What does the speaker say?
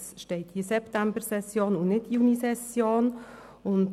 Es steht hier «Septembersession» und nicht «Junisession».